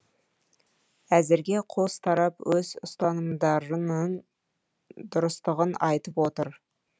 әзірге қос тарап өз ұстанымдарының дұрыстығын айтып отыр